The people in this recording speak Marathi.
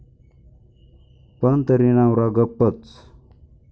पण तरी नवरा गप्पच.